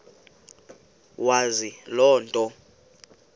wazi loo nto